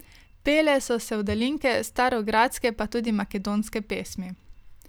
Pele so se sevdalinke, starogradske pa tudi makedonske pesmi.